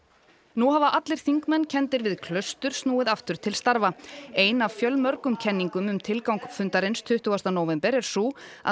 nú hafa allir þingmenn kenndir við Klaustur snúið aftur til starfa ein af fjölmörgum kenningum um tilgang fundarins tuttugasta nóvember er sú að